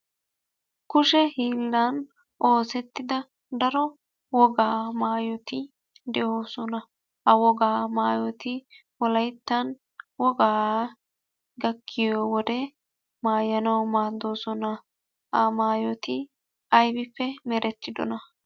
Kushe hiillan oosettida daro wogaa mayoti de'oosona. Ha wogaa mayoti wolayittan wogaa gakkiyo wode mayanawu maaddoosona. Ha mayoti ayibippe merettidona?